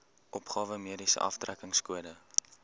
opgawe mediese aftrekkingskode